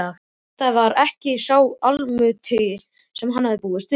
Þetta var ekki sá Almáttugi sem hann hafði búist við.